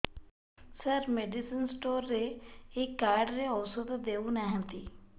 ସାର medicine store ରେ ଏଇ card ରେ ଔଷଧ ଦଉନାହାନ୍ତି